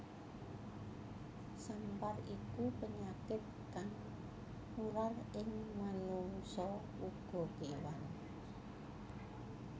Sampar iku penyakit kang nular ing manungsa uga kewan